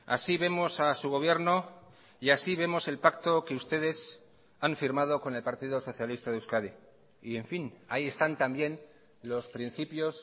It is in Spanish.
así vemos a su gobierno y así vemos el pacto que ustedes han firmado con el partido socialista de euskadi y en fin ahí están también los principios